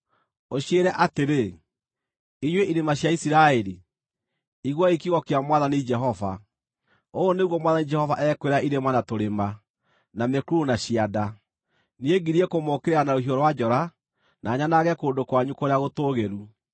ũciĩre atĩrĩ: ‘Inyuĩ irĩma cia Isiraeli, iguai kiugo kĩa Mwathani Jehova. Ũũ nĩguo Mwathani Jehova ekwĩra irĩma na tũrĩma, na mĩkuru na cianda: Niĩ ngirie kũmũũkĩrĩra na rũhiũ rwa njora, na nyanange kũndũ kwanyu kũrĩa gũtũũgĩru.